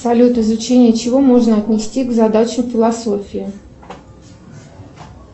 салют изучение чего можно отнести к задаче философии